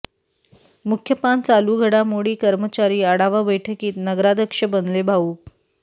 मुख्य पान चालू घडामोडी कर्मचारी आढावा बैठकीत नगराध्यक्ष बनले भावूक